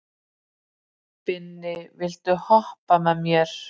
Binni, viltu hoppa með mér?